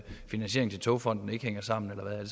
finansieringen til togfonden dk ikke hænger sammen eller hvad